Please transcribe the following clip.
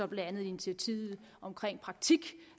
blandt andet initiativet i praktik